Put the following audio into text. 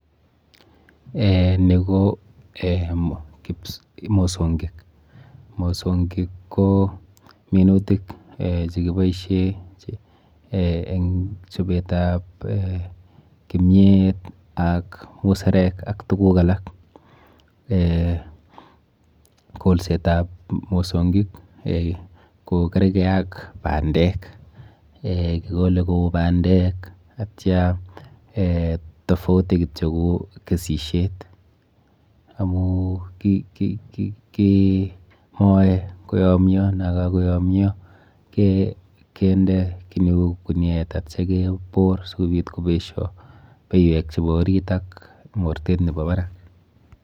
Eh ni ko eh mosonkik. Mosonkik ko minutik chekiboishe eng chopetap eh kimiet, ak muserek ak tuguk alak. Kolsetap mosonkik ko kerke ak bandek, eh kikole kou bandek atya eh tofauti kityo ko kesisyet amu kimoe koyomyo nakakoyomyo kende kiy neu kuniet atya kebor asikobit kobesho beywek chepo orit ak mortet nepo barak.